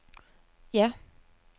ja